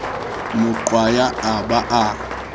mo qwaya a ba a